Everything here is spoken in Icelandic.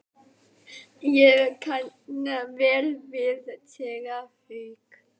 Ég kann vel við séra Hauk.